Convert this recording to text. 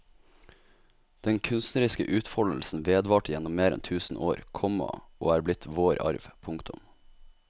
Den kunstneriske utfoldelsen vedvarte gjennom mer enn tusen år, komma og er blitt vår arv. punktum